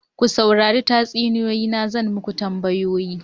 Ku saurari tatsuniyoyi na zan yi muku tambayoyi.